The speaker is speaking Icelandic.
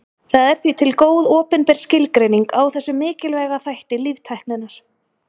Það er því til góð opinber skilgreining á þessum mikilvæga þætti líftækninnar.